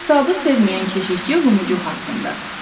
Hesabı sevməyən keşiyçi Lumucuq haqqında.